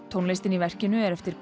tónlistin í verkinu er eftir